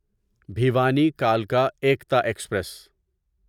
بھیوانی کلکا ایکتا ایکسپریس